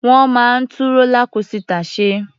Wọ́n máa ń tú rólá kósità ṣe.